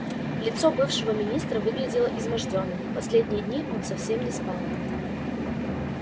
лицо бывшего министра выглядело измождённым последние дни он совсем не спал